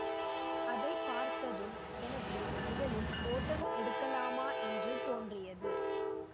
அதை பார்த்ததும் எனக்கு முதலில் ஓட்டம் எடுக்கலாமா என்று தோன்றியது